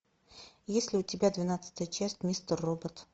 есть ли у тебя двенадцатая часть мистер робот